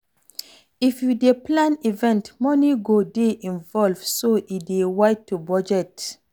If you dey plan event, money go dey involved so e dey wide to budget